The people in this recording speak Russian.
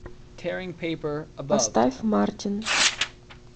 поставь мартин